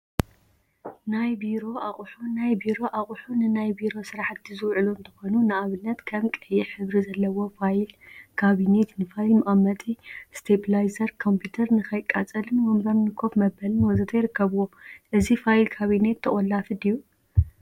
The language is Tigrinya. ናይ ቢሮ አቁሑ ናይ ቢሮ አቁሑ ንናይ ቢሮ ስራሕቲ ዝውዕሉ እንትኾኑ፤ ንአብነት ከም ቀይሕ ሕብሪ ዘለዎ ፋይል ካቢኔት ንፋይል መቀመጢ፣ እስቴፕላይዘር ኮምፒተር ንከይትቃፀልን ወንበር ንኮፍ መበሊን ወዘተ ይርከቡዎም፡፡ እዚ ፋይል ካቢኔት ተቆላፊ ድዩ?